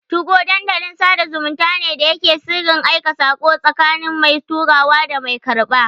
2go Dandalin sada zumunta ne da yake da sirrin aika sako, tsakanin mai turawa da mai karɓa.